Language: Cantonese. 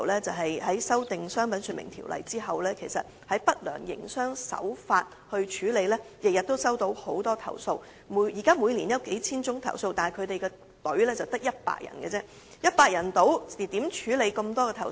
在修訂《商品說明條例》後，海關每天均接獲大量有關不良營商手法的投訴，數目達每年數千宗，但處理投訴的隊伍卻只得100人，試問以100人之力如何能處理眾多投訴？